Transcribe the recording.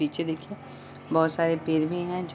पीछे देखिये बहुत सारे पेड़ भी हैं जो --